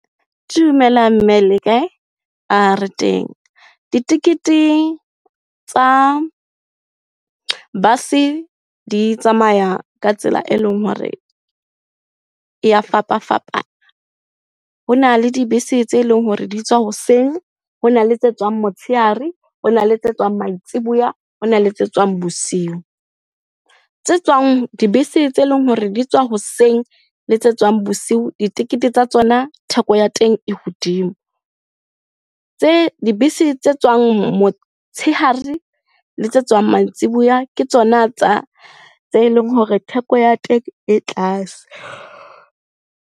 Dumela mme le kae? Re teng. Ditekete tsa bus-e di tsamaya ka tsela e leng hore e ya fapafapana. Hona le dibese tse leng hore di tswa hoseng, hona le tse tswang motsheare, hona le tse tswang mantsibuya, hona le tse tswang bosiu. Tse tswang, dibese tse leng hore di tswa hoseng le tse tswang bosiu ditekete tsa tsona theko ya teng e hodimo. Tse, dibese tse tswang motshehare le tse tswang mantsibuya, ke tsona tse leng hore theko ya teng e tlase.